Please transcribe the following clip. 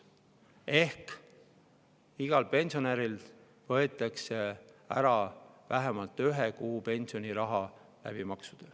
Ehk igalt pensionärilt võetakse maksudega ära vähemalt ühe kuu pensioniraha.